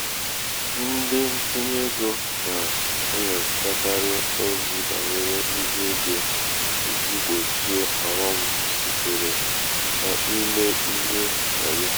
ndị ntinye egō nà-enyòchakarị ozi bànyere ihe egō ijī gbòchie ọ̀ghọm sitere n’imē ihe wàyo. um